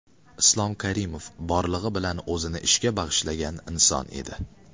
Islom Karimov borlig‘i bilan o‘zini ishga bag‘ishlagan inson edi.